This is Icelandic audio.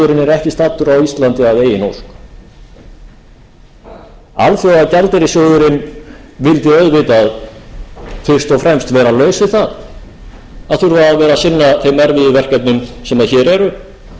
ekki staddur á íslandi að eigin ósk alþjóðagjaldeyrissjóðurinn vildi auðvitað fyrst og fremst vera laus við það að þurfa að vera að sinna þeim erfiðu verkefnum sem hér eru og geta þá einbeitt sér